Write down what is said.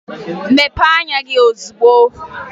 Mepee anya gị ozugbo!